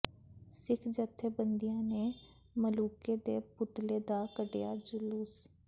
ਸਿੱਖ ਜਥੇਬੰਦੀਆਂ ਨੇ ਮਲੂਕੇ ਦੇ ਪੁਤਲੇ ਦਾ ਕੱਢਿਆ ਜਲੂਸ